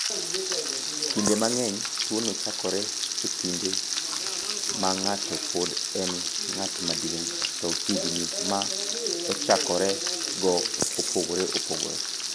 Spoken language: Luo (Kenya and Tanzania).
"Kinde mang’eny, tuwono chakore e kinde ma ng’ato pod en ng’at maduong’, to higni ma ochakorego opogore opogore."